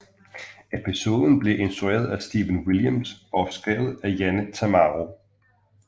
Episoden blev instrueret af Stephen Williams og skrevet af Janet Tamaro